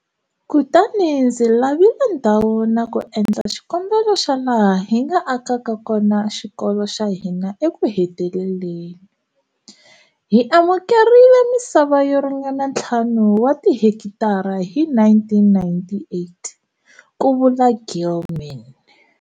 Kutani ndzi lavile ndhawu na ku endla xikombelo xa laha hi nga akaka kona xikolo xa hina ekuheteleleni. Hi amukerile misava yo ringana ntlhanu wa tihekitara hi 1998, ku vula Gilman.